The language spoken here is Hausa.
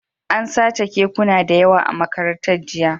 An sace kekuna da yawa a Makarantar, jiya